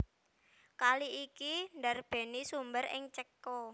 Kali iki ndarbèni sumber ing Céko